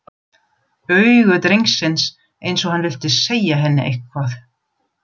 Augu drengsins, eins og hann vildi segja henni eitthvað.